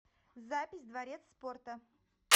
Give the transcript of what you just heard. запись дворец спорта